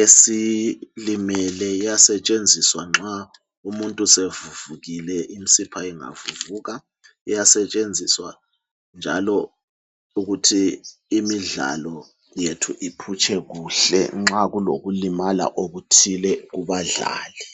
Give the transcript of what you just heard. esilimele. Iyasetshenzisa nxa umuntu sevuvukile imsipha ingavuvuka, iyasetshenziswa njalo ukuthi imidlalo yethu iphutshe kuhle nxa kulokulimala okuthile kubadlali.